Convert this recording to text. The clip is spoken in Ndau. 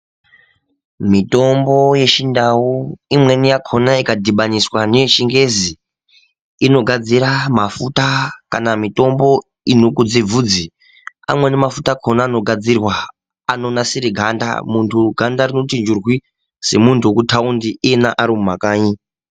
Mitombo yeChiNdau imweni yakona ikadhibaniswa ngeyeChiNgezi inogadzira mafuta kana mitombo inokudze bvudzi. Amweni mafuta akona anogadzirwa anonasire ganda muntu ganda rinoti njurwi, semunhu ari mumataundi iyena ari mumakanyi.